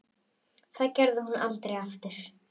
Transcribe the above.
Það gerði hún aldrei aftur.